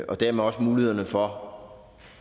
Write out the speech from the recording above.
og dermed også mulighederne for for